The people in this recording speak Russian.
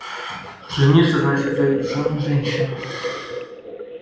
жениться значит взять в жены женщину